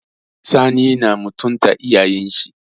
Sani na mutunta iyayen shi.